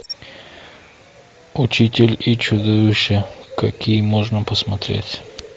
учитель и чудовище какие можно посмотреть